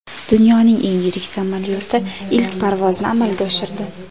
Dunyoning eng yirik samolyoti ilk parvozni amalga oshirdi .